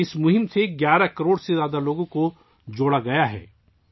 اس مہم سے 11 کروڑ سے زیادہ لوگوں کو جوڑا گیا ہے